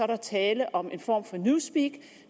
der tale om en form for newspeak og